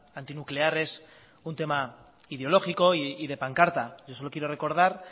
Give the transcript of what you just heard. antinuclear es un tema ideológico y de pancarta yo solo quiero recordar